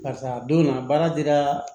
Karisa a donna baara dira